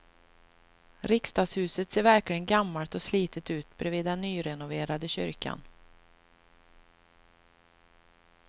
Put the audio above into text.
Riksdagshuset ser verkligen gammalt och slitet ut bredvid den nyrenoverade kyrkan.